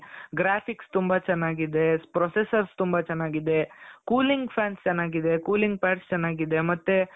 graphics ತುಂಬಾ ಚೆನ್ನಾಗಿದೆ processors ತುಂಬಾ ಚೆನ್ನಾಗಿದೆ cooling fans ಚೆನ್ನಾಗಿದೆ cooling pands ಚೆನ್ನಾಗಿದೆ ಮತ್ತೆ .